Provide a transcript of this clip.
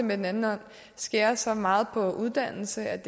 med den anden hånd skærer så meget ned på uddannelse at